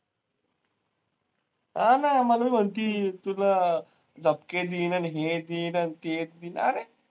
हा ना, मला म्हणती, तुला झपके देईन आणि हे देईन आणि ते, अरे?